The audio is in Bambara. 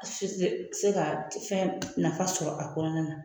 A si te se ka fɛn nafa sɔrɔ a kɔnɔna na